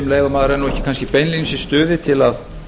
maður er kannski ekki beinlínis í stuði til að